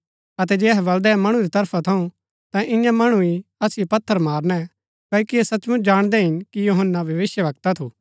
अतै जे अहै बलदै मणु री तरफा थऊँ ता ईयां मणु ही असिओ पत्थर मारणै क्ओकि ऐह सचमुच जाणदै हिन कि यूहन्‍ना भविष्‍यवक्ता थू